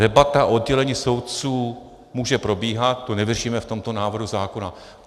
Debata o oddělení soudců může probíhat, to nevyřešíme v tomto návrhu zákona.